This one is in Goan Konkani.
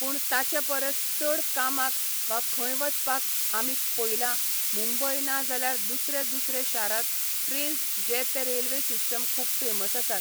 पूण ताचे परस चड कामाक वा खंय वचपाक आमी पयला मुंबय ना जाल्यार दुसरे दुसरे शारांत ट्रेन्स जे ते रेल्वे सिस्टम खूब फेमस आसात.